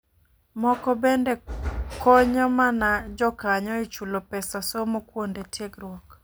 Moko bende konyo mana jokanyo e chulo pesa somo kuonde tiegruok